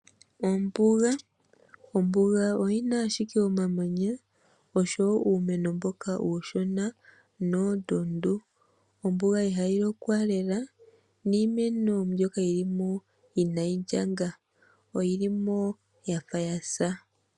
Ombuga, ombuga oyina ashike omamanya osho wo uumeno mboka uushona noondundu. Ombuga ihayi lokwa lela niimeno mbyoka yilimo inayi ndjanga oyili mo yafa yasa.